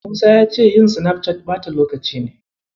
Musa ya ce yin Sinafcat ɓata lokaci ne.